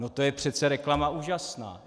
No to je přece reklama úžasná!